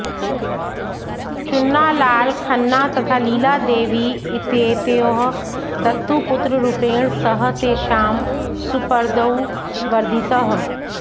चुन्नालाल खन्ना तथा लीलादेवी इत्येतयोः दत्तुपुत्ररूपेण सः तेषां सुपर्दौ वर्धितः